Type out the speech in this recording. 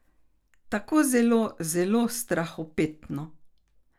Tako zelo, zelo strahopetno.